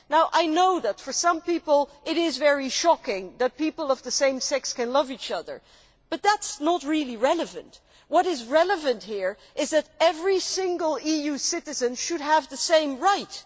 I know that for some people, it is very shocking that people of the same sex can love each other, but that is not really relevant. What is relevant here is that every single EU citizen should have the same rights.